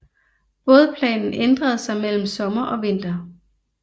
Bådplanen ændrer sig mellem sommer og vinter